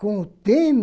Com o